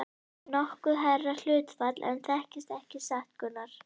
Þetta er nokkuð hærra hlutfall en þekkist ekki satt, Gunnar?